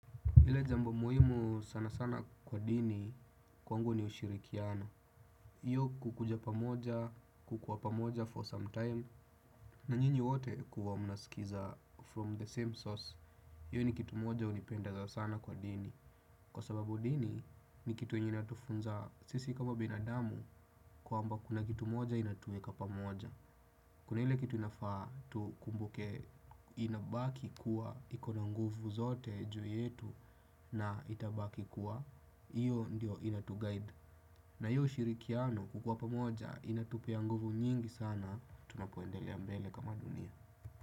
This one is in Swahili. Ile jambu muhimu sana sana kwa dini kwangu ni ushirikiano. Hiyo kukuja pamoja, kukuwa pamoja for some time. Na nyinyi wote kuwa mnasikiza from the same source. Hiyo ni kitu moja hunipendeza sana kwa dini. Kwa sababu dini ni kitu yenye inatufunza sisi kama binadamu kwamba kuna kitu moja inatuweka pamoja. Kuna hile kitu inafaa tu kumbuke inabaki kuwa ikona nguvu zote juu yetu na itabaki kuwa hiyo ndio inatuguide. Na hiyo ushirikiano kukua pamoja inatupea nguvu nyingi sana tunapoendelea mbele kama dunia.